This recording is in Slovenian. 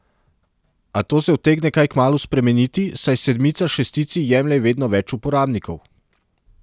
A to se utegne kaj kmalu spremeniti, saj sedmica šestici jemlje vedno več uporabnikov.